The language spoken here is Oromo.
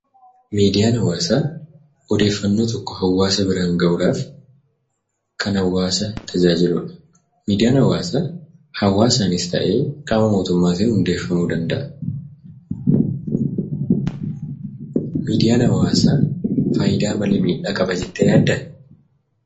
Miidiyaan hawaasaa odeeffannoo tokko hawaasa biraan ga'uudhaaf kan hawaasa tajaajiludha, Miidiyaan hawaasaa hawaasaanis ta'ee qaama mootummaatiin hundeeffamuu danda'a. Miidiyaan hawaasaa faayidaa malee miidhaa qaba jettee yaaddaa?